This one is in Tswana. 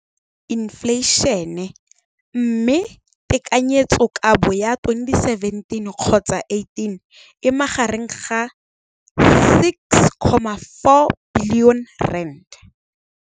Infleišene, mme tekanyetsokabo ya 2017, 18, e magareng ga R6.4 bilione.